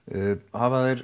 hafa þeir